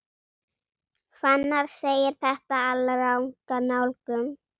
Fannar segir þetta alranga nálgun.